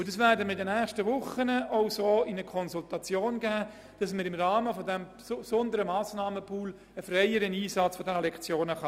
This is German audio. Wir werden in den nächsten Wochen die Idee in die Konsultation geben, dass diese Lektionen freier einsetzbar sein sollen.